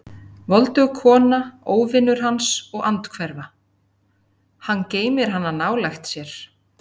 Voldug kona, óvinur hans og andhverfa: hann geymir hana nálægt sér.